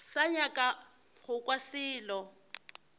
sa nyaka go kwa selo